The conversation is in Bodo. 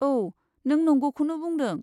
औ, नों नंगौखौनो बुंदों।